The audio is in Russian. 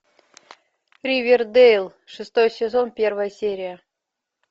ривердэйл шестой сезон первая серия